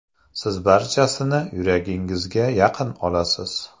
Siz barchasini yuragingizga yaqin olasiz.